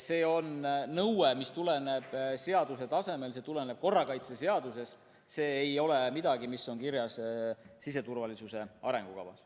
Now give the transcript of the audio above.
See on nõue, mis seaduse tasemel tuleneb korrakaitseseadusest, see ei ole midagi, mis on kirjas siseturvalisuse arengukavas.